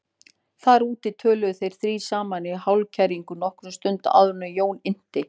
Þar úti töluðu þeir þrír saman í hálfkæringi nokkra stund áður en Jón innti